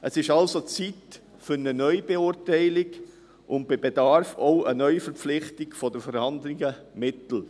Es ist also Zeit für eine Neubeurteilung und, bei Bedarf, auch für eine Neuverpflichtung der vorhandenen Mittel.